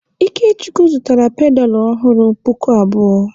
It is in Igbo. Ikechukwu zụtara pedalụ ọhụrụ puku abụọ.